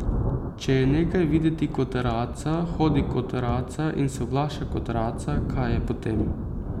Če je nekaj videti kot raca, hodi kot raca in se oglaša kot raca, kaj je potem?